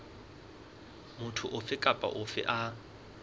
motho ofe kapa ofe a